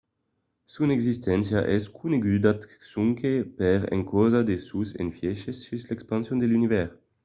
son existéncia es coneguda sonque per encausa de sos efièches sus l’expansion de l’univèrs